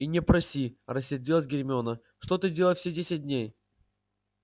и не проси рассердилась гермиона что ты делал все десять дней